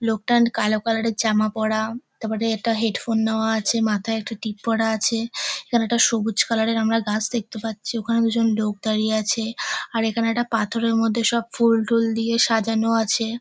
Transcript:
লোকটা অ্যান্ড কালো কালারের জামা পড়া তারপরে একটা হেডফোন নেওয়া আছে মাথায় একটা টিপ পড়া আছে। এখানে একটা সবুজ কালারের আমরা গাছ দেখতে পাচ্ছি ওখানে দুজন লোক দাঁড়িয়ে আছে আর এখানে একটা পাথরের মধ্যে সব ফুল টুল দিয়ে সাজানো আছে।